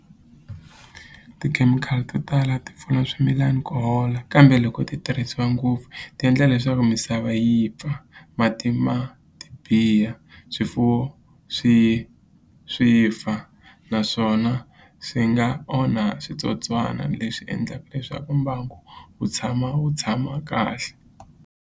Tikhemikhali to tala ti pfuna swimilana ku hola kambe loko ti tirhisiwa ngopfu ti endla leswaku misava yi pfa mati ma ti biha swifuwo swi swi fa naswona swi nga onha switsotswana leswi endlaka leswaku mbangu wu tshama wu tshama kahle.